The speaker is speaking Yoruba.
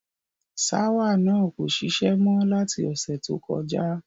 Ṣáwà náà kò šiṣẹ́ mọ́ láti ọ̀sẹ̀ tó kọjá.